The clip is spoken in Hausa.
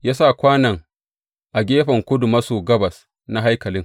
Ya sa kwanon a gefen kudu, a gefen kudu maso gabas na haikalin.